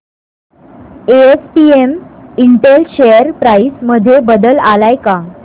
SPS Intel share price मध्ये बदल आलाय का